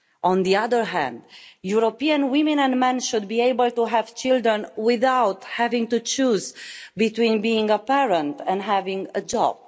On the other hand, European women and men should be able to have children without having to choose between being a parent and having a job.